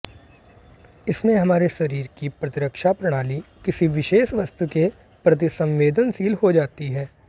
इसमें हमारे शरीर की प्रतिरक्षा प्रणाली किसी विशेष वस्तु के प्रति संवेदनशील हो जाती है